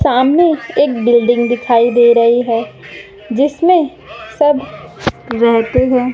सामने एक बिल्डिंग दिखाई दे रही है जिसमें सब रहते है।